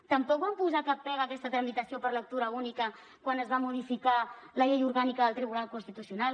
tampoc van posar cap pega a aquesta tramitació per lectura única quan es va modificar la llei orgànica del tribunal constitucional